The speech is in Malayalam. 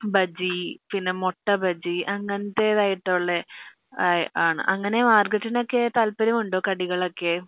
ബജി പിന്നെ മുട്ട ബജി അങ്ങനത്തെതായിട്ടുള്ള ആയി ആൻ അങ്ങനെ മാര്ഗരോട്ടിനോക്കെ താല്പര്യം ഉണ്ടോ കടികൾ ഒക്കെ